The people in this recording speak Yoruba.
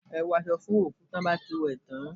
Ẹ wọ aṣọ fún òkú tí wọ́n bá ti wẹ̀ ẹ́ tán